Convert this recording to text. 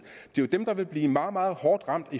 det er jo dem der vil blive meget meget hårdt ramt